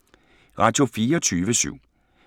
Radio24syv